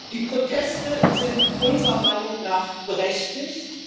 Die Proteste sind unserer Meinung nach berechtigt.